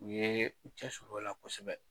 U yee u cɛ sir'o la kosɛbɛ.